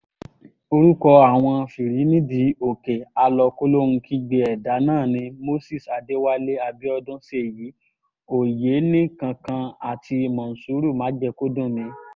orúkọ àwọn fìrí-nídìí-òkè àlọ-kòlóhun-kígbe ẹ̀dà náà ni moses adéwálé abiodun ṣèyí ọ̀yẹ́nìkankan àti mòṣúrù májèkọ́dùnmi